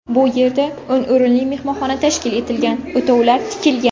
Bu yerda o‘n o‘rinli mehmonxona tashkil etilgan, o‘tovlar tikilgan.